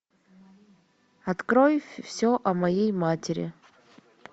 открой все о моей матери